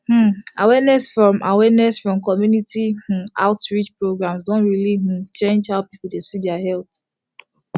um awareness from awareness from community um outreach programs don really um change how people dey see their health